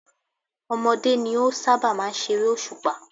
Ọmọdé ní ó sábà máa ń ṣe eré òṣùpá.